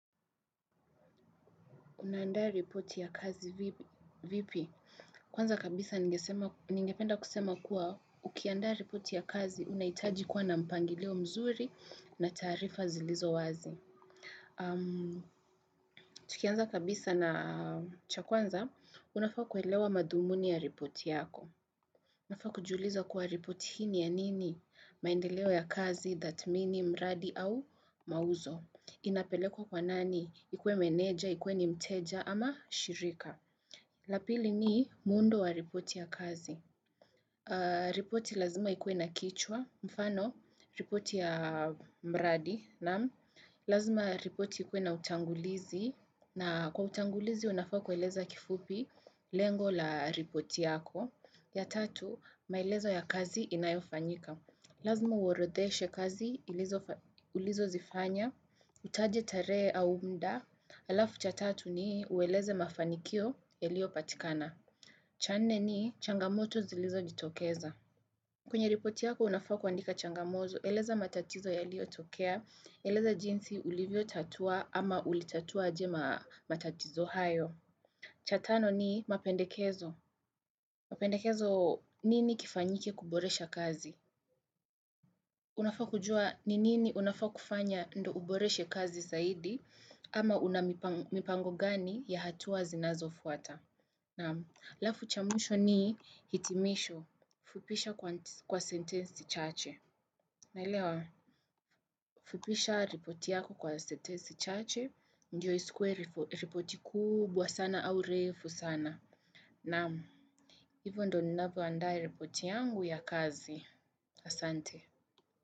Unaandaa ripoti ya kazi vipi? Kwanza kabisa ningependa kusema kuwa ukiandaa ripoti ya kazi unahitaji kuwa na mpangilio mzuri na taarifa zilizo wazi. Tukianza kabisa na cha kwanza, unafaa kuelewa madhumuni ya ripoti yako. Unafaa kujiuliza kuwa ripoti hi ni ya nini maendeleo ya kazi, thatmini, mradi au mauzo. Inapelekwa kwa nani, ikuwe meneja, ikuwe ni mteja ama shirika la pili ni muundo wa ripoti ya kazi ripoti lazima ikuwe na kichwa, mfano, ripoti ya mradi lazima ripoti ikuwe na utangulizi na kwa utangulizi unafaa kueleza kifupi, lengo la ripoti yako ya tatu, maelezo ya kazi inayofanyika lazima uorodheshe kazi, ilizo ulizozifanya utaje tarehe au muda, alafu cha tatu ni ueleze mafanikio yaliopatikana. Cha nne ni changamoto zilizojitokeza. Kwenye ripoti yako unafaa kuandika changamoto, eleza matatizo yaliotokea, eleza jinsi ulivyotatua ama ulitatua aje matatizo hayo. Cha tano ni mapendekezo. Mapendekezo nini kifanyike kuboresha kazi? Unafaa kujua ni nini unafaa kufanya ndo uboreshe kazi zaidi ama una mipango gani ya hatua zinazofuata. Namu, alafu cha mwisho ni hitimisho, fupisha kwa sentensi chache. Naelewa, fupisha ripoti yako kwa sentensi chache, ndio isikuwe ripoti kubwa sana au refu sana. Namu, hivyo ndo ninavyoandaa ripoti yangu ya kazi. Asante.